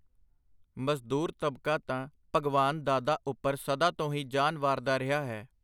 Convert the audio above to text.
ਮਜ਼ਦੂਰ ਤਬਕਾ ਤਾਂ ਭਗਵਾਨ ਦਾਦਾ ਉਪਰ ਸਦਾ ਤੋਂ ਹੀ ਜਾਨ ਵਾਰਦਾ ਰਿਹਾ ਹੈ.